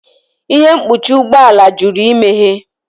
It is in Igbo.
Ihe mkpuchi ụgbọ ala jụrụ imeghe